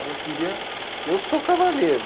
Ela queria... Eu sou cavaleiro.